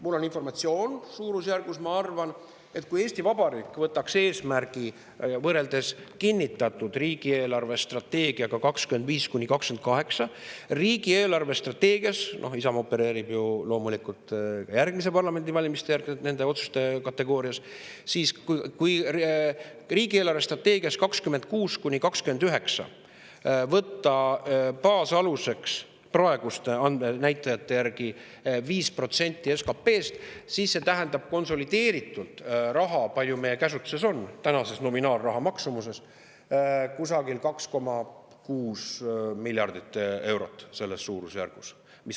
Mul on informatsioon ja ma arvan, et kui Eesti Vabariik võtaks eesmärgi võrreldes kinnitatud riigi eelarvestrateegiaga 2025–2028 – Isamaa opereerib ju loomulikult nende otsuste kategoorias ka järgmiste parlamendivalimiste järgselt – riigi eelarvestrateegias 2026–2029 võtta baasaluseks praeguste näitajate järgi 5% SKP‑st, siis see tähendab konsolideeritult – kui palju meie käsutuses on tänaseks raha nominaal – kusagil 2,6 miljardit eurot, selles suurusjärgus.